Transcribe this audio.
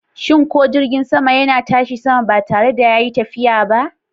Shin ko jirgin sama yana tashi sama ba tare da yayi tafiya ba?